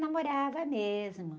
Namorava mesmo.